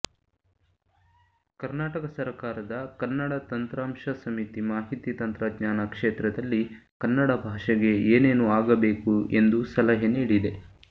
ಕನುಾರ್ಟಕ ಸರಕಾರದ ಕನ್ನಡ ತಂತ್ರಾಂಶ ಸಮಿತಿ ಮಾಹಿತಿ ತಂತ್ರಜ್ಞಾನ ಕ್ಷೇತ್ರದಲ್ಲಿ ಕನ್ನಡ ಭಾಷೆಗೆ ಏನೇನು ಆಗಬೇಕು ಎಂದು ಸಲಹೆ ನೀಡಿದೆ